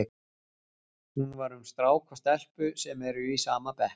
Hún var um strák og stelpu sem eru í sama bekk.